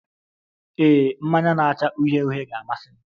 Ee, mmanya na-acha uhie uhie ga-amasị m.